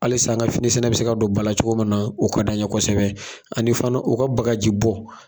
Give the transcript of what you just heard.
Halis an ka finisɛnɛ bi se ka don ba la cogo min na o ka d'an ɲɛ kosɛbɛ ani fana u ka bagaji bɔ.